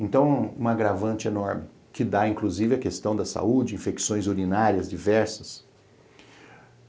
Então, um agravante enorme que dá, inclusive, a questão da saúde, infecções urinárias diversas.